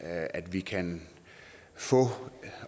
at vi kan få